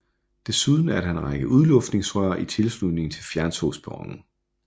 Desuden er der en række udluftningsrør i tilslutning til fjerntogsperronen